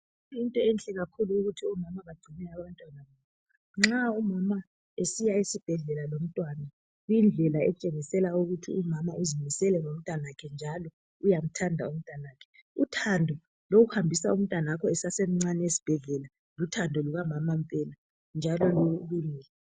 Yinto enhle kakhulu ukuthi omama bacine abantwana babo nxa umama esiya esibhedlela lomntwana kuyidlela etshengisela ukuthi umama uzimisele ngomntwanakhe njalo uyamthanda umntwanakhe uthando lokuhambisa umntwanakho esasemncane esibhedlela luthando lukamama mpela njalo lulungile.